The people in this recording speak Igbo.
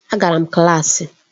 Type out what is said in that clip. Agara m klaasị.